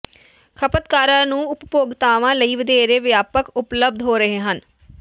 ਖਪਤਕਾਰਾਂ ਨੂੰ ਉਪਭੋਗਤਾਵਾਂ ਲਈ ਵਧੇਰੇ ਵਿਆਪਕ ਉਪਲੱਬਧ ਹੋ ਰਹੇ ਹਨ